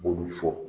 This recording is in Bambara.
B'olu fɔ